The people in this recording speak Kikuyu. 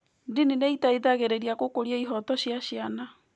Ndini nĩ ĩteithagĩrĩria gũkũria ihooto cia ciana.